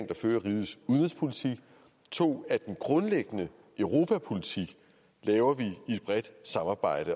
der fører rigets udenrigspolitik og 2 at den grundlæggende europapolitik laver vi i et bredt samarbejde